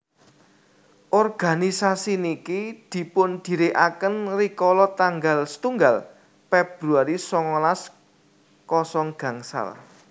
organisasi niki dipundhirikaken rikala tanggal setunggal Februari songolas kosong gangsal